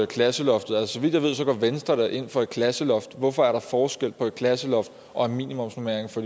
klasseloftet og så vidt jeg ved går venstre da ind for et klasseloft hvorfor er der forskel på et klasseloft og en minimumsnormering for